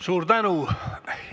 Suur tänu!